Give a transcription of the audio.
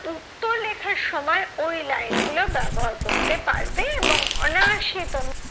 উত্তর লেখার সময় ওই line গুলো ব্যবহার করতে পারবে এবং অনায়াসে তোমরা